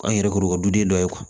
An yɛrɛ kɔrɔkɛ duden dɔ ye